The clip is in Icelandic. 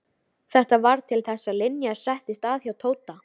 Þetta varð til þess að Linja settist að hjá Tóta.